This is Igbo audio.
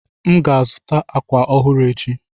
M ga-azụta àkwà ọhụrụ echi.